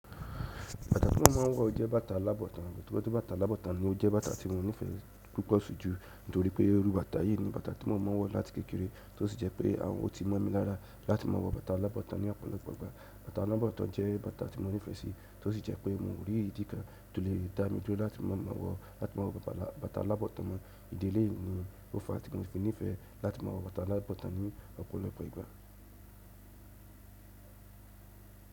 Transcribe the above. Bàtà tí mo máa ń wọ̀ jẹ́ bàtà alábọ̀tan, torí pé bàtà alábọ̀tan ni ó jẹ́ bàtà tí mo nífẹ̀ẹ́ púpọ̀ sii jù nítorí pé irú bàtà yìí ni bàtà tí mo máa ń wọ̀ láti kékeré, tó sì jẹ́ pé ọtí mọ̀ mi lára láti máa wọ bàtà alábọ̀tan ní ọ̀pọ̀lọpọ̀ ìgbà. Bàtà alábọ̀tan jẹ́ bàtà tí mo nífẹ̀ẹ́ sí, tó sì jẹ́ pé mo rí i ìdí kán tó lè dá mi dúró láti máa maa wọ̀, láti máa wọ bàtà alábọ̀tan mọ. Ìdí eleyìí ni ó fa tí mo fi nífẹ̀ẹ́ láti máa wọ bàtà alábọ̀tan ní ọ̀pọ̀lọpọ̀ ìgbà.